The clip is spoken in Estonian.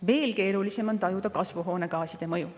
Veel keerulisem on tajuda kasvuhoonegaaside mõju.